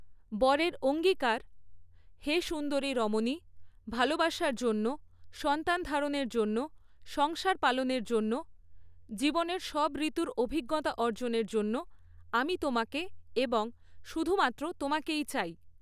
বরের অঙ্গীকারঃ হে সুন্দরী রমণী, ভালোবাসার জন্য, সন্তান ধারণের জন্য, সংসার পালনের জন্য, জীবনের সব ঋতুর অভিজ্ঞতা অর্জনের জন্য, আমি তোমাকে এবং শুধুমাত্র তোমাকেই চাই।